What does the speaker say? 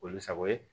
Olu sago ye